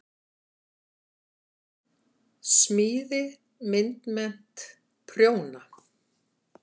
Smíði- myndmennt- prjóna